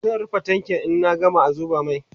zan rufe tankin in an gama zuba mai